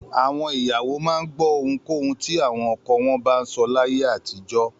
Àwọn ìyàwó máa ń gbọ́ ohunkóhun tí àwọn ọkọ wọn bá sọ láyé àtijọ́.